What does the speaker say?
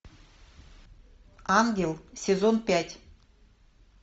ангел сезон пять